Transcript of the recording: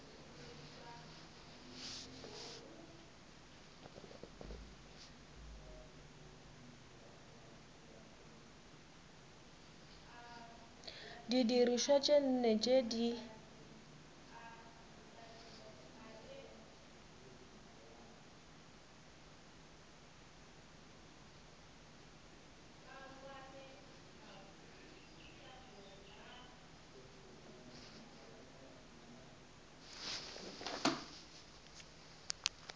didirišwa tše nne tše di